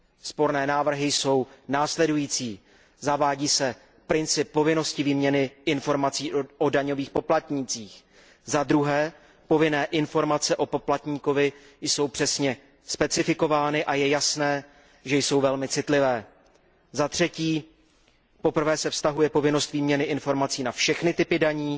Sporné návrhy jsou následující zavádí se princip povinnosti výměny informací o daňových poplatnících, za druhé, povinné informace o poplatníkovi jsou přesně specifikovány a je jasné, že jsou velmi citlivé, za třetí, poprvé se vztahuje povinnost výměny informací na všechny typy daní